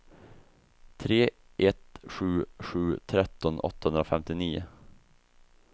tre ett sju sju tretton åttahundrafemtionio